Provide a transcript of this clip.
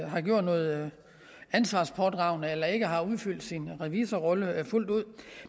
har gjort noget ansvarspådragende eller ikke har udfyldt sin revisorrolle fuldt ud